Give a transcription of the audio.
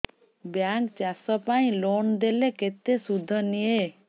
bank ଚାଷ ପାଇଁ loan ଦେଲେ କେତେ ସୁଧ ନିଏ